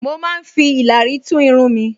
Mo máa ń fi ìlàrí tún irun mi